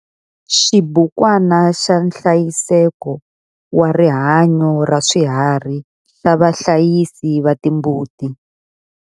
Xibukwana xa nhlayiseko wa rihanyo ra swiharhi xa vahlayisi va timbuti.